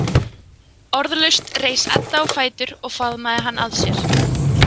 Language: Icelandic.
Orðalaust reis Edda á fætur og faðmaði hann að sér.